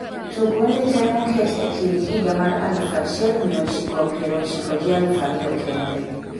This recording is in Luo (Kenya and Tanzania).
tug wende te moket e kind higa mar aluf achiel mia ochikopier ochiko gi aluf ariyo kende